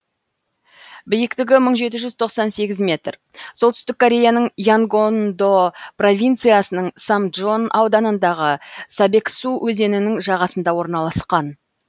биіктігі бір мың жеті жүз тоқсан сегіз метр солтүстік кореяның янгондо провинциясының самджон ауданындағы собексу өзенінің жағасында орналасқан